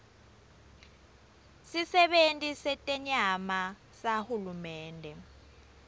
sisebenti setenyama sahulumende